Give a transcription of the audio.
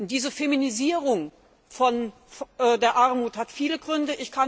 Diese Feminisierung der Armut hat viele Gründe.